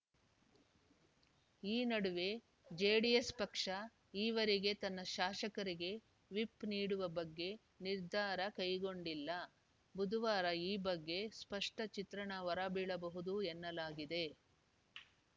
ಈ ನಡುವೆ ಜೆಡಿಎಸ್‌ ಪಕ್ಷ ಈವರೆಗೆ ತನ್ನ ಶಾಸಕರಿಗೆ ವಿಪ್‌ ನೀಡುವ ಬಗ್ಗೆ ನಿರ್ಧಾರ ಕೈಗೊಂಡಿಲ್ಲ ಬುಧವಾರ ಈ ಬಗ್ಗೆ ಸ್ಪಷ್ಟಚಿತ್ರಣ ಹೊರಬೀಳಬಹುದು ಎನ್ನಲಾಗಿದೆ